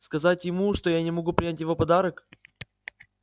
сказать ему что я не могу принять его подарок